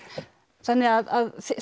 þannig að